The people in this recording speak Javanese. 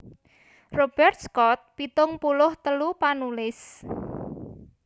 Robert Scott pitung puluh telu panulis